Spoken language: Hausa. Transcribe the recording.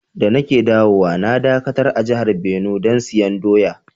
Da na ke dawowa na dakatar a jihar Benue dan siyan doya.